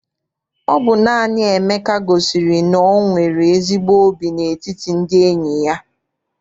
Ọ bụ naanị Emeka gosiri na o nwere ezigbo óbì n'etiti ndị enyi ya.